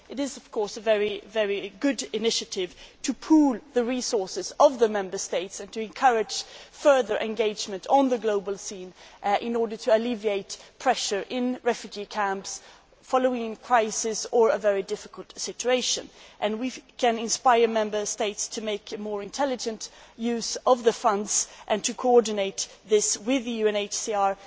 It is, of course, a very good initiative to pool the resources of the Member States and to encourage further engagement on the global scene in order to alleviate pressure in refugee camps following a crisis or a very difficult situation. We can inspire Member States to make more intelligent use of the funds and to coordinate this with UNHCR.